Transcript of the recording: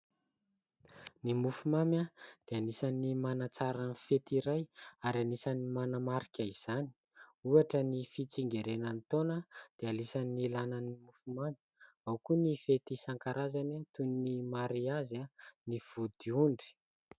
Ny mofomamy dia anisan'ny manatsara ny fety iray ary anisan'ny manamarika izany. Ohatra : ny fitsingerenan'ny taona dia anisan'ny ilaina ny mofomamy ; ao koa ny fety isankarazany, toy ny mariazy, ny vodiondry.